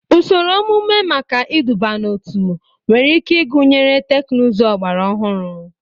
Ụsoro omume maka iduba n'otu nwere ike ịgụnye teknụzụ ọgbara ọhụrụ.